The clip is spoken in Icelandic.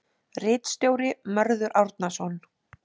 Ritstjóri: Mörður Árnason.